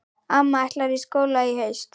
Amma ætlar í skóla í haust.